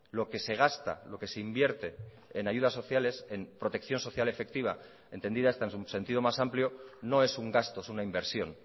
lo que se gasta lo que se invierte en ayudas sociales en protección social efectiva entendida esta en su sentido más amplio no es un gasto es una inversión